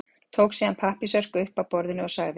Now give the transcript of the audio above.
Tók síðan pappírsörk upp af borðinu og sagði